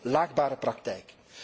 Dat is een laakbare praktijk.